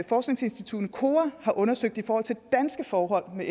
forskningsinstituttet kora har undersøgt i forhold til danske forhold med